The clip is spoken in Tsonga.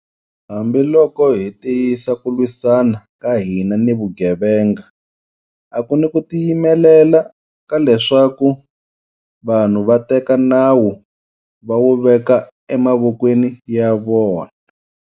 Hambiloko hi tiyisa ku lwisana ka hina ni vugevenga, a ku ni ku tiyimelela ka leswaku vanhu va teka nawu va wu veka emavokweni ya vona.